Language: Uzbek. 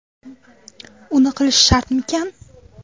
Uni qilish shartmikan?